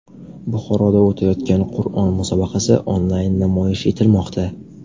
Buxoroda o‘tayotgan Qur’on musobaqasi onlayn namoyish etilmoqda.